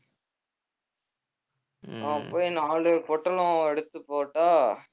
அவன் போய் நாலு பொட்டலம் எடுத்து போட்டா